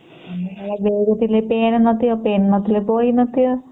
ଆମ କାଳରେ ପେନ ନଥିବା ପେନ ଥିଲେ ବହି ନଥିବ